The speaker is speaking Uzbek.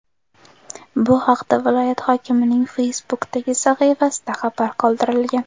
Bu haqda viloyat hokimining Facebook’dagi sahifasida xabar qoldirilgan .